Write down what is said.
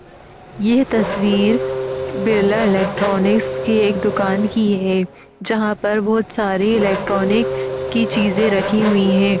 ये तस्वीर बिरला इलेक्ट्रॉनिक्स की एक दुकान की है जहां पर बोहोत सारे इलेक्ट्रॉनिक की चीजे रखी हुई हैं।